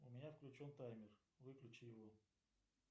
у меня включен таймер выключи его